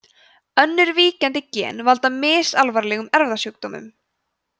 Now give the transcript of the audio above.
önnur víkjandi gen valda misalvarlegum erfðasjúkdómum